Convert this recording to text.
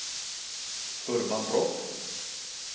Urban Roth